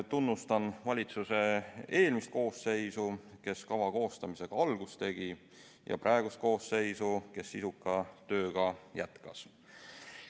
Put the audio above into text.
Tunnustan valitsuse eelmist koosseisu, kes kava koostamisega algust tegi, ja praegust koosseisu, kes sisuka tööga jätkas.